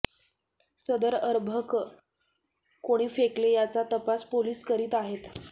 सदर अर्भक कोणी फेकले याचा तपास पोलिस करीत आहेत